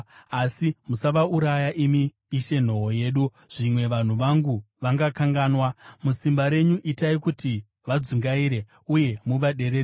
Asi musavauraya, imi Ishe nhoo yedu, zvimwe vanhu vangu vangakanganwa. Musimba renyu itai kuti vadzungaire, uye muvaderedze.